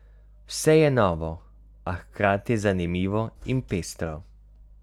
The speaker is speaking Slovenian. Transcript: Vse je novo, a hkrati zanimivo in pestro.